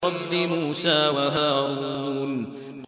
رَبِّ مُوسَىٰ وَهَارُونَ